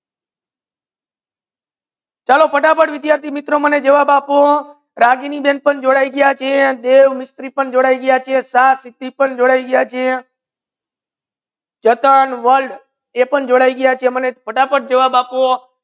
ચાલો ફટાફટ વિદ્યાર્થી મિત્રો મને જવાબ આપો રાગિણી બેન પણ જોડાઈ ગયા છે દેવ મિસ્ત્રી પણ જોડાઈ ગયા છે શાહ સિદ્ધિ પણ જોડાઈ ગયા છે જતન world પણ જોડાઈ ગયા છે મને ફટાફટ જવાબ આપો